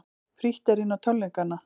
Frítt er inn á tónleikana